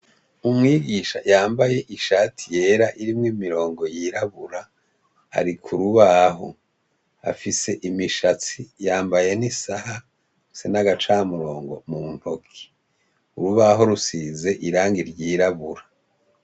Umwigisha yambaye ishati yera iriko imirongo yirabura ari kurubaho afise imishatsi yambaye nisaha afise nagacamurongo muntoki urubaho rusize irangi ryirabura